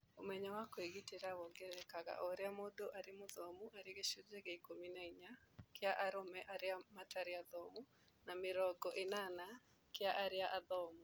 Ũmenyo wa kũĩgitĩra wongererekaga oũrĩa mũndũ arĩ mũthomu arĩ gĩcunjĩ kĩa ikũmi na inya kĩa arũme arĩa matarĩ athomu na mĩrongo ĩnana kĩa arĩa athomu